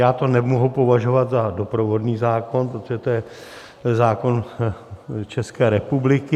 Já to nemohu považovat za doprovodný zákon, protože to je zákon České republiky.